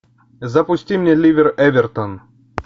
запусти мне ливер эвертон